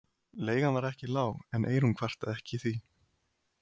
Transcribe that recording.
Leigan var ekki lág en Eyrún kvartaði ekki því